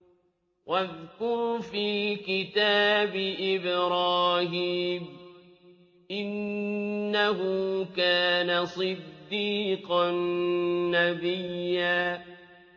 وَاذْكُرْ فِي الْكِتَابِ إِبْرَاهِيمَ ۚ إِنَّهُ كَانَ صِدِّيقًا نَّبِيًّا